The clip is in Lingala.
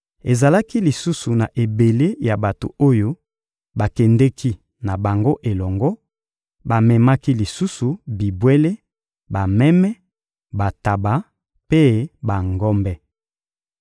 Ezalaki lisusu na ebele ya bato oyo bakendeki na bango elongo; bamemaki lisusu bibwele: bameme, bantaba mpe bangombe.